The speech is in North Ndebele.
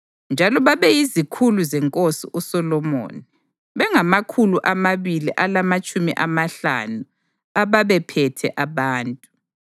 Njalo babeyizikhulu zenkosi uSolomoni, bengamakhulu amabili alamatshumi amahlanu ababephethe abantu.